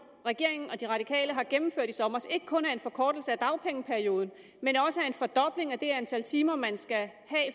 regeringen og de radikale har gennemført i sommer ikke kun er en forkortelse af dagpengeperioden men også en fordobling af det antal timer man skal have